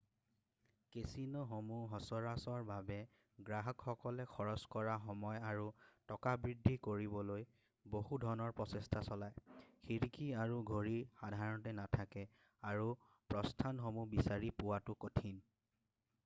কেছিন'সমূহে সচৰাচৰভাৱে গ্ৰাহকসকলে খৰচ কৰা সময় আৰু টকা বৃদ্ধি কৰিবলৈ বহু ধৰণৰ প্ৰচেষ্ঠা চলায় খিৰিকী আৰু ঘড়ী সাধাৰণতে নাথাকে আৰু প্ৰস্থানসমূহ বিচাৰি পোৱাটো কঠিন